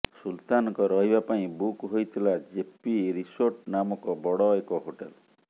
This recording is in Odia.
ସୁଲତାନଙ୍କ ରହିବା ପାଇଁ ବୁକ୍ ହୋଇଥିଲା ଜେପି ରିସୋର୍ଟ ନାମକ ବଡ଼ ଏକ ହୋଟେଲ୍